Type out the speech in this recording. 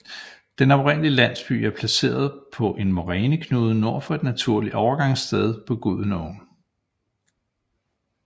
Den oprindelige landsby er placeret på en moræneknude nord for et naturligt overgangssted på Gudenåen